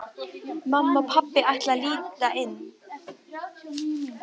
Mamma og pabbi ætla að líta inn.